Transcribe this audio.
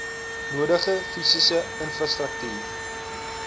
nodige fisiese infrastruktuur